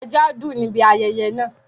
ẹja dùn níbi ayẹyẹ náà.